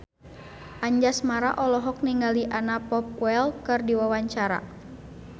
Anjasmara olohok ningali Anna Popplewell keur diwawancara